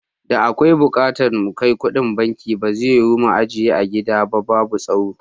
Da akwai bukatan na kai kuɗin banki, ba zai yiwu mu ajiye a gida ba babu tsaro.